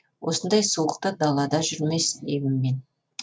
осындай суықта далада жүрмес деймін мен